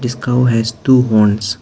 This cow has two horns.